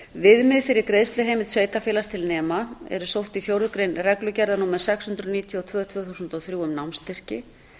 viðmið fyrir greiðsluheimild sveitarfélags til nema eru sótt í fjórðu grein reglugerðar númer sex hundruð níutíu og tvö tvö þúsund og þrjú um námsstyrki